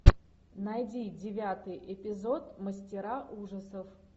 найди девятый эпизод мастера ужасов